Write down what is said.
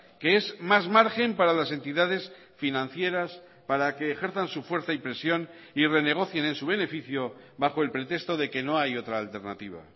que es más margen para las entidades financieras para que ejerzan su fuerza y presión y renegocien en su beneficio bajo el pretexto de que no hay otra alternativa